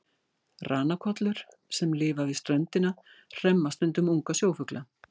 Ranakollur sem lifa við ströndina hremma stundum unga sjófugla.